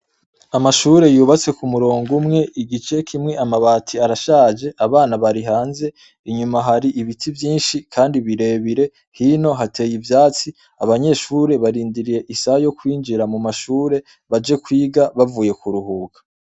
Amashure yubatse ku murongo umwe igice kimwe amabati arashaje, abana barihanze inyuma haribiti vyinshi kandi birebire hino hateye ivyatsi abanyeshure barindiriye isaha yo kwinjira mu mashure baje kwiga bavuye kuruhuka.